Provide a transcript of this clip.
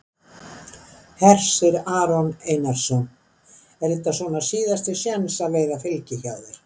Hersir Aron Einarsson: Er þetta svona síðasti séns að að að veiða fylgi hjá þér?